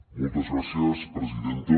moltes gràcies presidenta